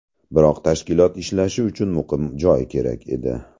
Biroq tashkilot ishlashi uchun muqim joy kerak edi.